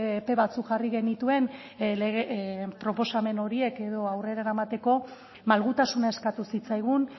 epe batzuk jarri genituen proposamen horiek edo aurrera eramateko malgutasuna eskatu zitzaigun